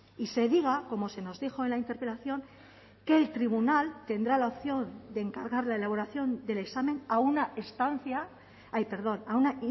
y se diga como se nos dijo en la interpelación que el tribunal tendrá la opción de encargar la elaboración del examen a una estancia ay perdón a una